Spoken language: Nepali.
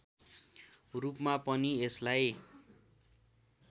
रूपमा पनि यसलाई